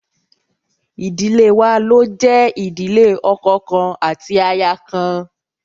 Idile wa lo jẹ ìdílé ọkọ kan ati aya kan